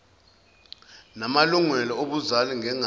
namalungelo obuzali ngengane